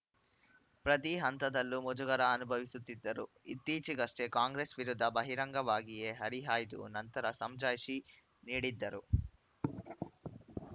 ಪ್ರತಿ ಹಂತದಲ್ಲೂ ಮುಜುಗರ ಅನುಭವಿಸುತ್ತಿದ್ದರು ಇತ್ತೀಚೆಗಷ್ಟೇ ಕಾಂಗ್ರೆಸ್‌ ವಿರುದ್ಧ ಬಹಿರಂಗವಾಗಿಯೇ ಹರಿಹಾಯ್ದು ನಂತರ ಸಮಜಾಯಿಷಿ ನೀಡಿದ್ದರು